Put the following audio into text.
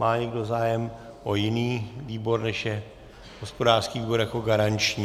Má někdo zájem o jiný výbor, než je hospodářský výbor jako garanční?